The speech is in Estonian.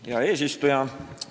Hea eesistuja!